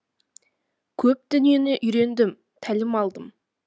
көп дүниені үйрендім тәлім алдым